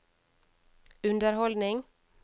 underholdning